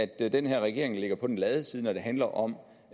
den her regering ligger på den lade side når det handler om